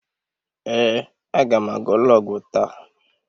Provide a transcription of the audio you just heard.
Ee, aga m aga ụlọ ọgwụ taa.